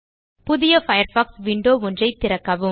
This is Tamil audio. புதிய பயர்ஃபாக்ஸ் விண்டோ ஒன்றை திறக்கவும்